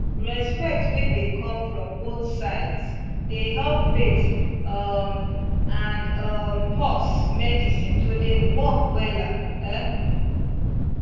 respect wey dey come from both side dey help faith um and um pause medicine to dey work wella um